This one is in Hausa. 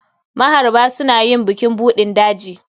Maharba suna yin bukin buɗin daji.